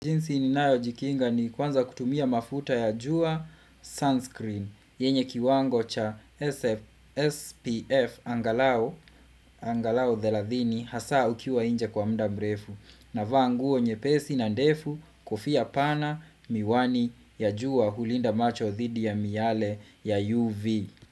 Jinsi ninayojikinga ni kwanza kutumia mafuta ya jua sunscreen yenye kiwango cha SPF angalau angalau thelathini hasa ukiwa nje kwa mda mrefu navaa nguo nyepesi na ndefu kofia pana miwani ya jua hulinda macho dhidi ya miale ya UV.